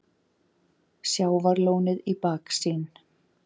Sjávarlónið í baksýn.